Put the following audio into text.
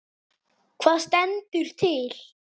Hvað stendur til?